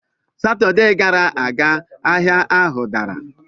Satọde gara aga, ahịa ahụ dara.